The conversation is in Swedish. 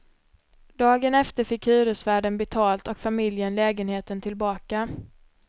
Dagen efter fick hyresvärden betalt och familjen lägenheten tillbaka.